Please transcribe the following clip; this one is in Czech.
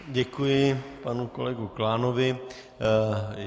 Děkuji panu kolegovi Klánovi.